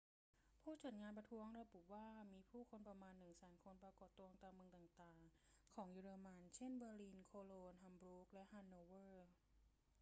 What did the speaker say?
ผู้จัดงานประท้วงระบุว่ามีผู้คนประมาณ 100,000 คนปรากฏตัวตามเมืองต่าง ๆ ของเยอรมัน เช่น เบอร์ลิน โคโลญ ฮัมบูร์ก และฮันโนเวอร์